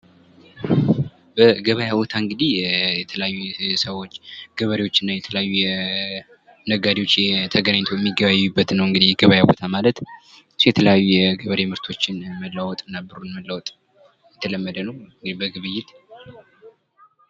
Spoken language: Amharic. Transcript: በገቢያ ቦታ እንግዲህ የተለያየ ሰዎች ገበሬዎች እና የተለያዩ ነጋዴዎች ተገናኝተው የሚገበያዩበት ቦታ ነው እንግዲህ ገብያ ቦታ ማለት የተለያዩ የገበሬ ምርቶች መለዋወጥ እና ብሩን መለዋወጥ የተለመደ ነው በግብይት።